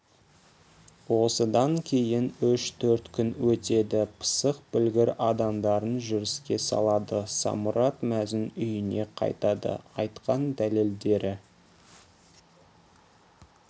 осыдан кейін үш-төрт күн өтеді пысық білгір адамдарын жүріске салады самұрат мәзін үйіне қайтады айтқан дәлелдері